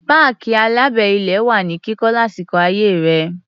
Páàkì alábẹ́-ilé wà ní kíkọ́ lásìkò ayé rẹ̀.